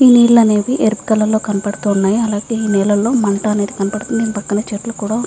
ఈ నీళ్లు అనేవి ఎరుపు కలర్ లో కనబడుతున్నాయి. అలాగే ఈ నీళ్లలో మంట అనేది కనబడుతుంది. దీని పక్కన చెట్లు కూడా ఉనాయి.